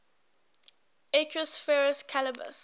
equus ferus caballus